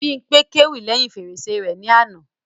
Bímpé kéwì lẹ́hìn fèrèsé rẹ ní àná